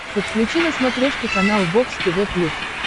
подключи на смотрешке канал бокс тв плюс